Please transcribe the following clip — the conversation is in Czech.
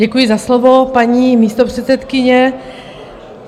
Děkuji za slovo, paní místopředsedkyně.